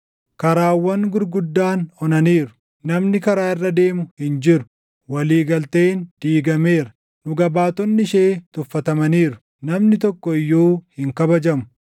Karaawwan gurguddaan onaniiru; namni karaa irra deemu hin jiru. Walii galteen diigameera; dhuga baatonni ishee tuffatamaniiru; namni tokko iyyuu hin kabajamu.